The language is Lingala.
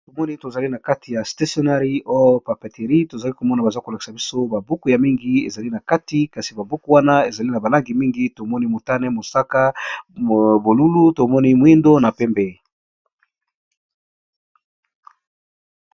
tomoni tozali na kati ya stationari o papeterie tozali komona baza kolakisa biso babuku ya mingi ezali na kati kasi babuku wana ezali na balangi mingi tomoni motane mosaka bolulu tomoni mwindo na pembe